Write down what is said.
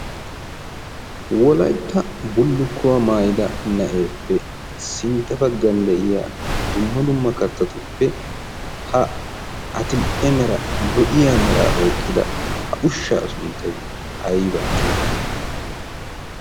Wolaytta bullukkuwa maayid na'eppe sintta baggan de'iyaa dumma dumma kattatuppe ha addil''e mera lo''iya mera oyqqida ha ushsha sunttay aybba getetti?